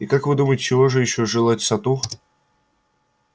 и как вы думаете чего же ещё желать сатту